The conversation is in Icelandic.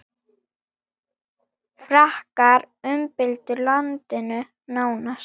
Frakkar umbyltu landinu nánast.